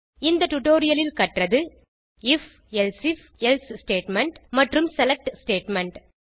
இந்த டியூட்டோரியல் இல் கற்றது ஐஎஃப் எல்சீஃப் எல்சே ஸ்டேட்மெண்ட் மற்றும் செலக்ட் ஸ்டேட்மெண்ட்